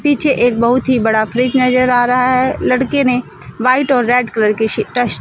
पीछे एक बहुत ही बड़ा फ्रिज नजर आ रहा है लड़के ने व्हाइट और रेड कलर की टी टस--